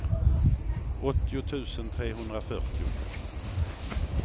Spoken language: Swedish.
åttio tusen trehundrafyrtio